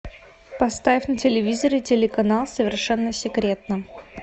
поставь на телевизоре телеканал совершенно секретно